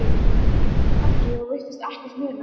Viðskiptabréf hafa þýðingu sem skilríki gegn skuldaranum.